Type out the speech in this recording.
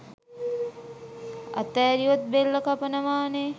ඇතාරියොත් බෙල්ල කපනවනේ